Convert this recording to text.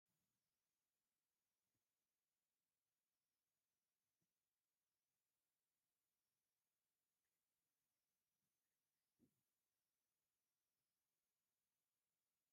ደስ ዝብል ሕብሪ ዘለዎ ናይ ደቂ ኣንስትዮ ስኒከር ጫማ እኒሀ፡፡ እዚ ጫማ ቅልል ዝበለ እዩ፡፡ ቅለቱ ንጉዕዞ ተመራፂ ንኽኸውን ዶ ይገብሮ?